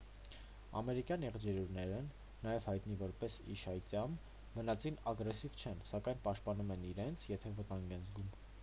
ամերիկյան եղջերուներն նաև հայտնի որպես իշայծյամ բնածին ագրեսիվ չեն սակայն պաշտպանում են իրենց եթե վտանգ են զգում: